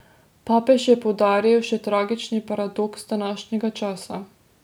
Papež je poudaril še tragični paradoks današnjega časa.